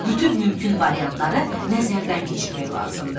Bütün mümkün variantları nəzərdən keçirmək lazımdır.